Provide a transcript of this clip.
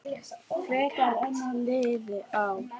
Frekar en liðin ár.